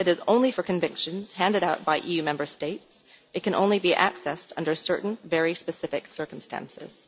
It is only for convictions handed out by EU Member States, and it can be accessed only under certain very specific circumstances.